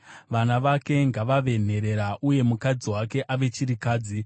Vana vake ngavave nherera, uye mukadzi wake ave chirikadzi.